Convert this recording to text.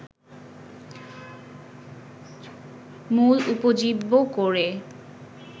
মূল উপজীব্য করে